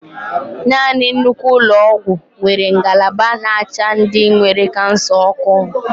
Nanị nnukwu ụlọ ọgwụ nwere ngalaba n'acha ndị nwere kansa ọkụ.